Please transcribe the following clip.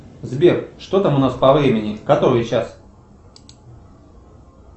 сбер что там у нас по времени который час